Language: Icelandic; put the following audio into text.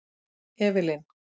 Evelyn